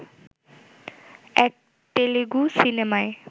এক তেলেগু সিনেমায়